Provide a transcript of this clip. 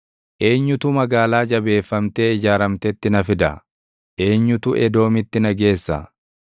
Eenyutu magaalaa jabeeffamtee ijaaramtetti na fida? Eenyutu Edoomitti na geessa?